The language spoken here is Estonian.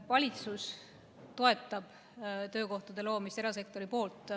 Valitsus toetab töökohtade loomist nii, et seda teeb erasektor.